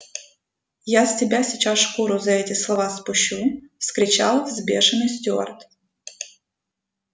я с тебя сейчас шкуру за эти слова спущу вскричал взбешённый стюарт